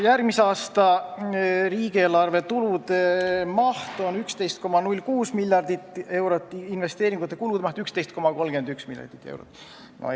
Järgmise aasta riigieelarve tulude maht on 11,06 miljardit eurot, investeeringute kulude maht 11,31 miljardit eurot.